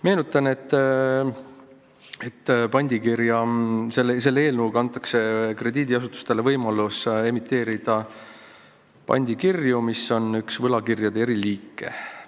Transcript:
Meenutan, et selle eelnõuga antakse krediidiasutustele võimalus emiteerida pandikirju, mis on üks võlakirjade eriliike.